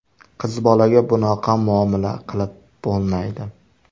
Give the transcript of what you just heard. Qizbolaga bunaqa muomala qilib bo‘lmaydi.